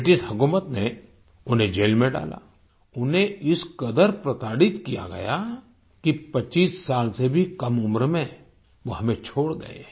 British हुकूमत ने उन्हें जेल में डाला उन्हें इस कदर प्रताड़ित किया गया कि 25 साल से भी कम उम्र में वो हमें छोड़ गए